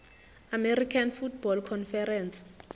american football conference